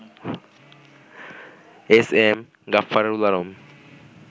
S M Gaffarul Alam